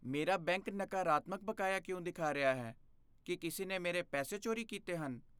ਮੇਰਾ ਬੈਂਕ ਨਕਾਰਤਮਕ ਬਕਾਇਆ ਕਿਉਂ ਦਿਖਾ ਰਿਹਾ ਹੈ? ਕੀ ਕਿਸੇ ਨੇ ਮੇਰੇ ਪੈਸੇ ਚੋਰੀ ਕੀਤੇ ਹਨ?